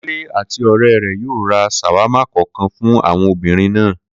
Kúnlé àti ò̩ré̩ rè̩ yóò ra s̩àwámà kò̩ò̩kan fún àwo̩n obìnrin náà